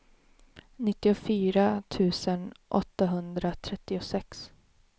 nittiofyra tusen åttahundratrettiosex